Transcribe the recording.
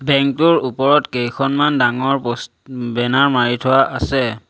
Bank টোৰ ওপৰত কেইখনমান ডাঙৰ প'ষ্ট বেনাৰ মাৰি থোৱা আছে।